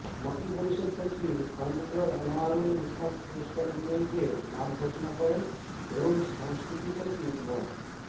মন্ত্রিপরিষদ সচিব খন্দকার আনোয়ারুল ইসলাম পুরস্কার বিজয়ীদের নাম ঘোষণা করেন এবং সংস্কৃতি সচিব মো